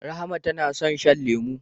Rahma tana son shan lemu.